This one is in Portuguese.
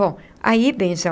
Bom, aí, benzão,